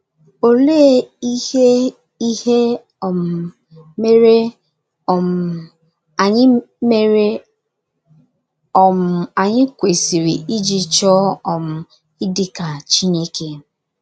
Oléé iheihe um mere um anyị mere um anyị kwesịrị iji chọọ um ịdị ka Chineke?